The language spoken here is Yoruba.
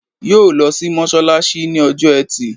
Yóò lo sí mọ́sálásí ní ọjọ́ ẹtì